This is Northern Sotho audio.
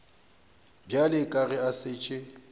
bjale ka ge a šetše